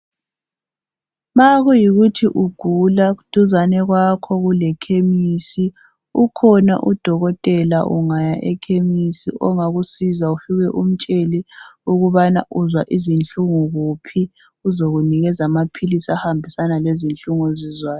Ma kuyikuthi ugula duzane kwakhe kulechemis ukhona udokotela ungaya e chemis ongakusiza ufike umtshele ukubana uzwa izinhlungu kuphi uzokunikeza amaphilisi ahambisana lezinhlungu ozizwayo.